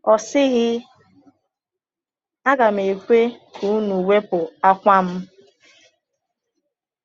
Ọ sịghị, ‘Aga m ekwe ka unu wepụ àkwà m!’